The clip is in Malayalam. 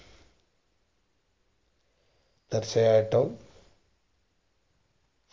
തീർച്ചയായിട്ടും